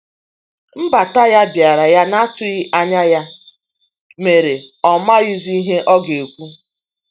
Nbata ya biara ya na atughi anya ya mere ọ maghi zi ihe ọga ekwụ.